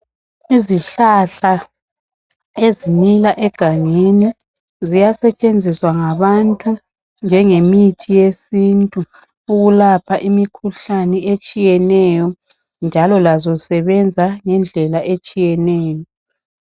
Izihlahla ezimila egangeni ziyasetshenziwa ngabantu njenge mithi yesintu ukulapha imikhuhlane etshiyeneyo njalo lazo zisebenza ngendlela etshiyeneyo.